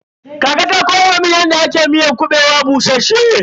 Kakata ta koya mun yadda ake miyar kuɓewa bushasshe.